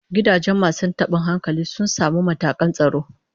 Gidajen masu tabin hankalin sun samu matakan tsaro